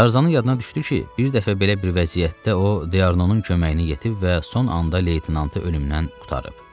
Tarzanın yadına düşdü ki, bir dəfə belə bir vəziyyətdə o Dianonun köməyinə yetib və son anda leytenantı ölümdən qurtarıb.